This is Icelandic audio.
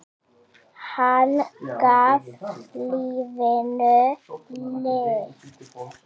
Hann gaf lífinu lit.